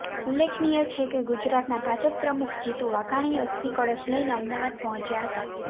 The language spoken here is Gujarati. ઉલ્લેખનીય છે કે ગુજરાતના ભાજપ પ્રમુખ જીતુ વાઘાણી અસ્થિ કળશ લઇને અમદાવાદ પહોંચ્યા હતા